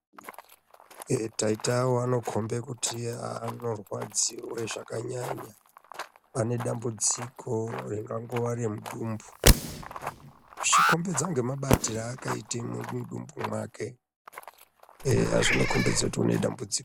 Eh taita awo anokombe kuti anorwadziwe zvakanyanya. Ane dzambudziko ringangowe remudumbu zvichikombedza ngemabatire aakaite mudumbu mwake, eya zvinokombedze kuti une dambudziko.